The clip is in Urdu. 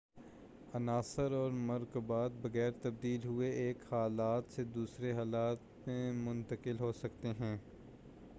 عناصر اور مرکبات بغیر تبدیل ہوئے ایک حالت سے دوسری حالت میں منتقل ہو سکتے ہیں